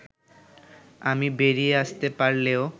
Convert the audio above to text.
আমি বেরিয়ে আসতে পারলেও